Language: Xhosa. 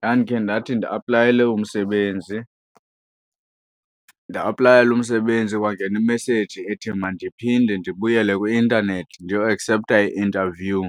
Ndandikhe ndathi ndiaplayele umsebenzi nda-aplayela umsebenzi kwangena imeseyiji ethi mandiphinde ndibuyele kwi-intanethi ndiyoakseptha i-interview